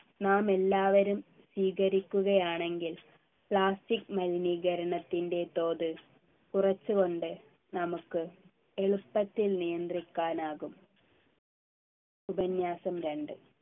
നാമെല്ലാവരും സ്വീകരിക്കുകയാണെങ്കിൽ plastic മലിനീകരണത്തിൻ്റെ തോത് കുറച്ചുകൊണ്ട് നമുക്ക് എളുപ്പത്തിൽ നിയന്ത്രിക്കാനാകും ഉപന്യാസം രണ്ട്